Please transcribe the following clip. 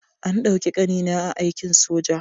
An ɗauki ƙanina a aikin soja.